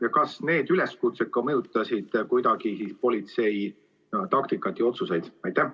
Ja kas need üleskutsed mõjutasid ka kuidagi politsei taktikat ja otsuseid?